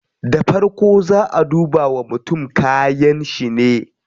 Da farko zaa a duba wa mutum kayanshi ne